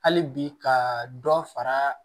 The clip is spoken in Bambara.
Hali bi ka dɔ fara